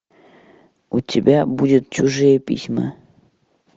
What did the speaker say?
у тебя будет чужие письма